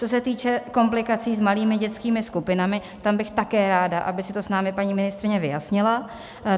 Co se týče komplikací s malými dětskými skupinami, tam bych také ráda, aby si to s námi paní ministryně vyjasnila.